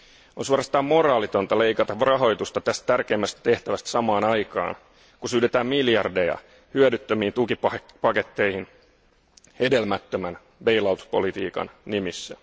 On suorastaan moraalitonta leikata rahoitusta tästä tärkeimmästä tehtävästä samaan aikaan kuin syydetään miljardeja hyödyttömiin tukipaketteihin hedelmättömän bail out politiikan nimissä.